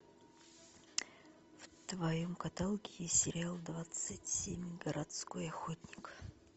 в твоем каталоге есть сериал двадцать семь городской охотник